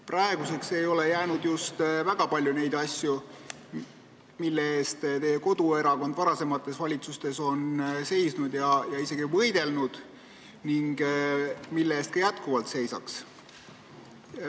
Praeguseks ei ole jäänud just väga palju asju, mille eest teie koduerakond varasemates valitsustes on seisnud ja isegi võidelnud ning mille eest ta ka praegu seisab.